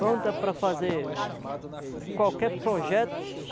Pronta para fazer qualquer projeto.